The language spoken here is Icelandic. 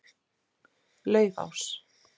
Laufás